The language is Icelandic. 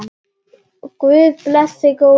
Guð blessi góðan bróður!